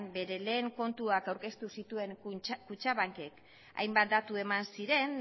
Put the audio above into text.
bere lehen kontuak aurkeztu zituen kutxabankek hainbat datu eman ziren